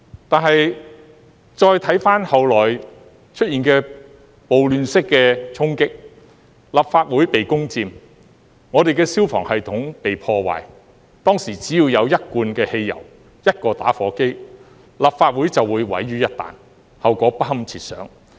但是，再回看後來出現的暴亂式的衝擊，立法會被攻佔，我們的消防系統被破壞，當時只要有一罐汽油，一個打火機，立法會便會毀於一旦，後果不堪設想。